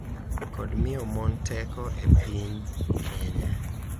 Kod miyo mon teko e piny Kenya.